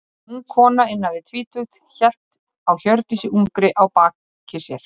Ung kona, innan við tvítugt, hélt á Hjördísi ungri á baki sér.